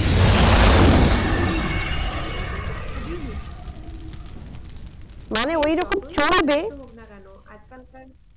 Income করে সংসার চালিয়ে দেবে সেইটা কিন্তু খুবই মুশকিল হোক না কেন আজকাল কার